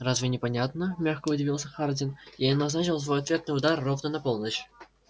разве непонятно мягко удивился хардин я назначил свой ответный удар ровно на полночь